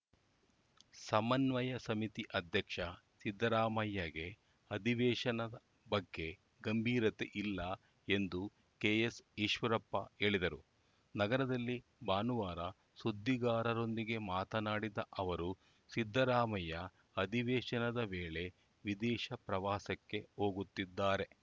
ಸಮನ್ವಯ ಸಮಿತಿ ಅಧ್ಯಕ್ಷ ಸಿದ್ಧರಾಮಯ್ಯಗೆ ಅಧಿವೇಶನ ಬಗ್ಗೆ ಗಂಭೀರತೆ ಇಲ್ಲ ಎಂದು ಕೆಎಸ್‌ ಈಶ್ವರಪ್ಪ ಹೇಳಿದರು ನಗರದಲ್ಲಿ ಭಾನುವಾರ ಸುದ್ದಿಗಾರರೊಂದಿಗೆ ಮಾತನಾಡಿದ ಅವರು ಸಿದ್ದರಾಮಯ್ಯ ಅಧಿವೇಶನದ ವೇಳೆ ವಿದೇಶ ಪ್ರವಾಸಕ್ಕೆ ಹೋಗುತ್ತಿದ್ದಾರೆ